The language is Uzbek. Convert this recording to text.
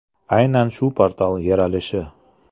Aynan shu portal yaralishi!